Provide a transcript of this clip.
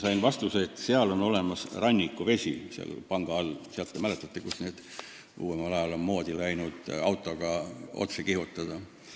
Sain vastuse, et seal panga all on rannikuvesi – selle panga all, kust uuemal ajal on moodi läinud autoga otse alla kihutada.